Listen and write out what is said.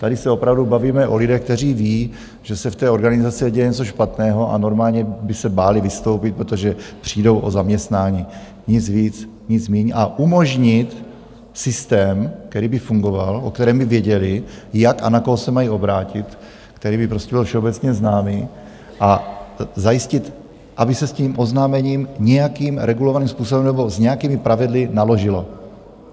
Tady se opravdu bavíme o lidech, kteří ví, že se v té organizaci děje něco špatného, a normálně by se báli vystoupit, protože přijdou o zaměstnání, nic víc, nic míň, a umožnit systém, který by fungoval, o kterém by věděli, jak a na koho se mají obrátit, který by prostě byl všeobecně známý, a zajistit, aby se s tím oznámením nějakým regulovaným způsobem nebo s nějakými pravidly naložilo.